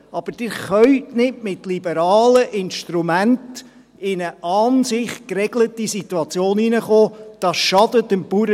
Aber Sie können nicht mit liberalen Instrumenten in eine an sich geregelte Situation hineinkommen.